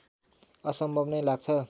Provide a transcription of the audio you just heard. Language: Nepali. असम्भव नै लाग्छ